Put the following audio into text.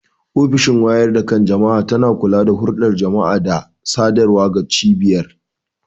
Ofishin wayar da kan jama'a tana kula da hulɗar jama'a da sadarwa ga cibiyar.